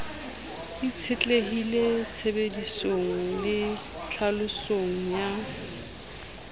itshetlehile tshebedisong le tlhalosong ya